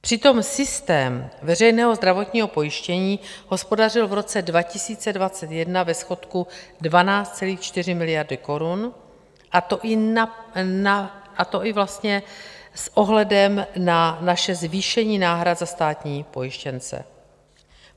Přitom systém veřejného zdravotního pojištění hospodařil v roce 2021 ve schodku 12,4 miliardy korun, a to i vlastně s ohledem na naše zvýšení náhrad za státní pojištěnce.